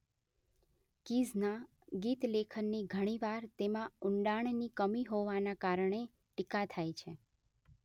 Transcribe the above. કીઝના ગીતલેખનની ઘણીવાર તેમાં ઊંડાણની કમી હોવાના કારણે ટીકા થાય છે